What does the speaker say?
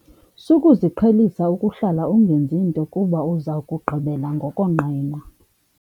Sukuziqhelisa ukuhlala ungenzi nto kuba uza kugqibela ngokonqena.